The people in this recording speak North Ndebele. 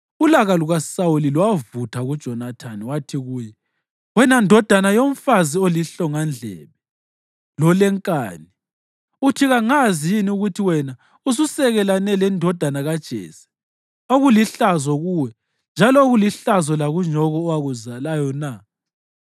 Ulaka lukaSawuli lwavutha kuJonathani wathi kuye, “Wena ndodana yomfazi olihlongandlebe lolenkani! Uthi kangazi yini ukuthi wena ususekelane lendodana kaJese okulihlazo kuwe njalo okulihlazo lakunyoko owakuzalayo na?